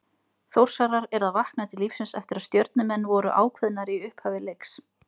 Þórsarar eru að vakna til lífsins eftir að Stjörnumenn voru ákveðnari í upphafi leiks.